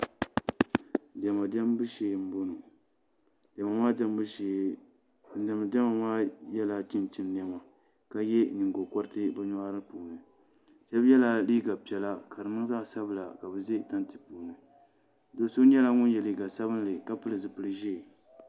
Diɛma diɛmbu shee n bɔŋɔ diɛma maa diɛmbu shee ban diɛmdi diɛma maa yɛla chinchin niɛma ka yɛ nyingokoriti ni nyoɣari puuni shab yɛla liiga piɛla ka di niŋ zaɣ sabila ka bi ʒɛ tanti puuni so nyɛla ŋun yɛ liiga sabinli ka pili zipili ʒiɛ